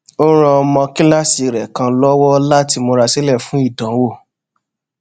ó ran ọmọ kíláàsì rè kan lówó láti múra sílè fún ìdánwò